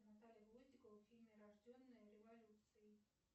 наталья гвоздикова в фильме рожденная революцией